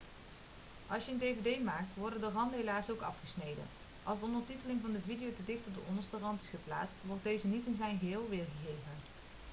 als je een dvd maakt worden de randen helaas ook afgesneden als de ondertiteling van de video te dicht op de onderste rand is geplaatst wordt deze niet in zijn geheel weergegeven